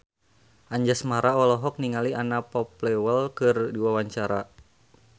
Anjasmara olohok ningali Anna Popplewell keur diwawancara